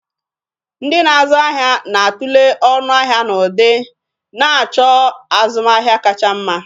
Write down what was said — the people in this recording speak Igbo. Ndị na-azụ ahịa na-a tulee ọnụ ahịa na ụdị, na-achọ azụmahịa kacha mma.